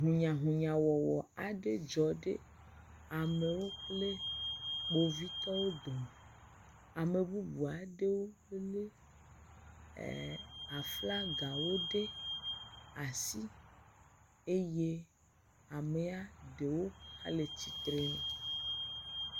Hunyahunyawɔwɔ aɖe dzɔ ɖe amewo kple kpovitɔwo dome, ame bubu aɖewo wolé aflagawo ɖe asi eye amea ɖewo hãle tsitre nu.